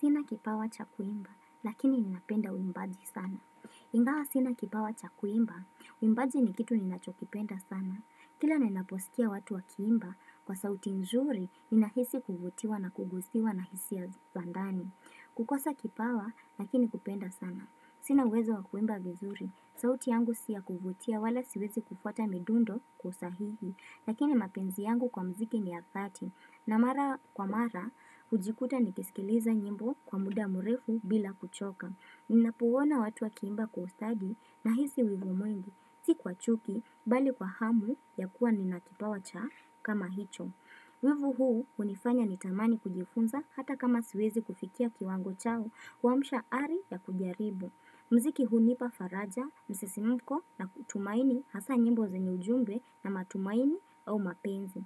Sina kipawa cha kuimba, lakini ninapenda uimbaji sana. Ingawa sina kipawa cha kuimba, uimbaji ni kitu ninachokipenda sana. Kila ninaposikia watu wakiimba, kwa sauti nzuri, ninahisi kuvutiwa na kugusiwa na hisia za ndani. Kukosa kipawa, lakini kupenda sana. Sina uwezo wa kuimba vizuri, sauti yangu si ya kuvutia, wala siwezi kufuata midundo kwa usahihi, lakini mapenzi yangu kwa mziki ni ya dhati. Na mara kwa mara, hujikuta nikisikiliza nyimbo kwa muda mrefu bila kuchoka. Ninapouona watu wakiimba kwa ustadi nahisi wivu mwengi. Si kwa chuki, bali kwa hamu ya kuwa ninakipawa cha kama hicho. Wivu huu unifanya nitamani kujifunza hata kama siwezi kufikia kiwango changu kuamsha ari ya kujaribu. Mziki hunipa faraja, msisimuko na kutumaini hasa nyimbo za ujumbe na matumaini au mapenzi.